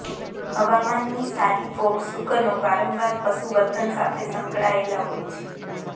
હવામાનની સારી ફોક શુકનો વારંવાર પશુ વર્તન સાથે સંકળાયેલ હોય છે